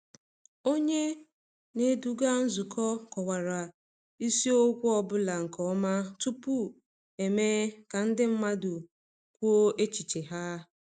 Onye um na-eduga nzukọ kọwara isiokwu ọ bụla nke ọma tupu emee ka ndị mmadụ kwuo echiche ha.